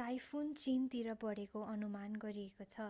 typhoon चीनतिर बढेको अनुमान गरिएको छ